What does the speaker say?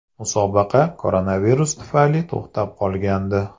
Musobaqa koronavirus tufayli to‘xtab qolgandi.